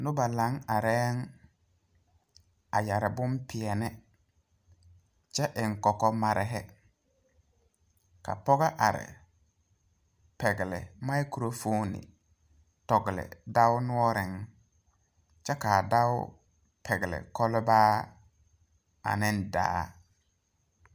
Nobɔ laŋ arɛɛŋ a yɛre bonpeɛne kyɛ eŋ kɔkɔ marehi ka pɔgɔ are pɛgle mikrofoone tɔgle dao noɔreŋ kyɛ kaa dɔɔ pɛgle kɔlbaa aneŋ daa.